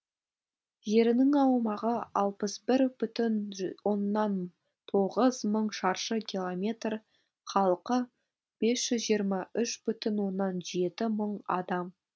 жерінің аумағы алпыс бір бүтін ж оннан тоғыз мың шаршы километр халқы бес жүз жиырма үш бүтін оннан жеті мың адам